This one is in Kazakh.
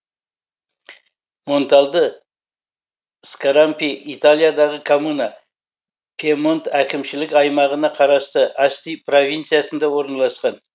монтальдо скарампи италиядағы коммуна пьемонт әкімшілік аймағына қарасты асти провинциясында орналасқан